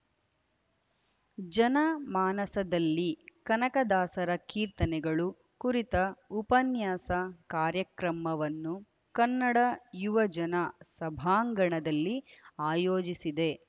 ಜನ ಮಾನಸದಲ್ಲಿ ಕನಕದಾಸರ ಕೀರ್ತನೆಗಳು ಕುರಿತ ಉಪನ್ಯಾಸ ಕಾರ್ಯಕ್ರಮವನ್ನು ಕನ್ನಡ ಯುವ ಜನ ಸಭಾಂಗಣದಲ್ಲಿ ಆಯೋಜಿಸಿದೆ